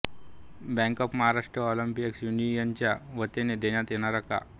bank of Maharashtra employees युनियनच्या वतीने देण्यात येणाऱ्या कॉ